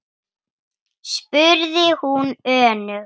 spurði hún önug.